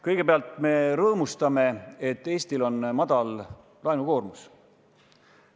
Kõigepealt, me rõõmustame, et Eestil on madal laenukoormus.